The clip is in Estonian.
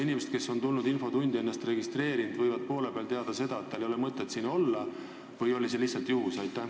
Ja kas tulevikus hakkabki nii olema, et infotund kestab kauem kui kella 14-ni, või oli see lihtsalt juhus?